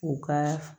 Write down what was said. U ka